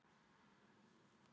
Hesturinn drapst samstundis